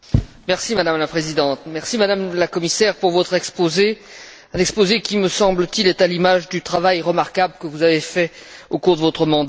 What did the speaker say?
Madame la Présidente, Madame la Commissaire, merci pour votre exposé, un exposé qui, me semble t il, est à l'image du travail remarquable que vous avez fait au cours de votre mandat.